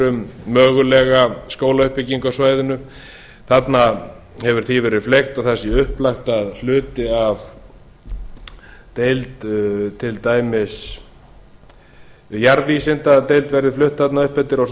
um mögulega skólauppbyggingu á svæðinu þarna hefur því verið fleygt og það sé upplagt að hluti af deild til dæmis jarðvísindadeild verði flutt þarna upp eftir og svo